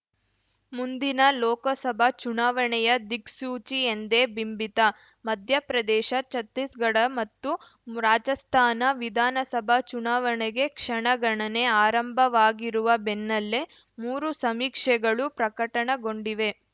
ಮುಂದಿನ ಲೋಕಸಭಾ ಚುನಾವಣೆಯ ದಿಕ್ಸೂಚಿ ಎಂದೇ ಬಿಂಬಿತ ಮಧ್ಯಪ್ರದೇಶ ಛತ್ತೀಸ್‌ಗಢ ಮತ್ತು ರಾಜಸ್ಥಾನ ವಿಧಾನಸಭಾ ಚುನಾವಣೆಗೆ ಕ್ಷಣಗಣನೆ ಆರಂಭವಾಗಿರುವ ಬೆನ್ನಲ್ಲೇ ಮೂರು ಸಮೀಕ್ಷೆಗಳು ಪ್ರಕಟಗೊಂಡಿವೆ